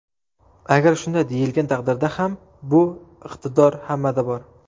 Agar shunday deyilgan taqdirda ham bu iqtidor hammada bor.